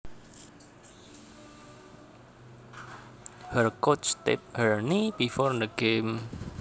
Her coach taped her knee before the game